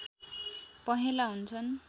पहेँला हुन्छन्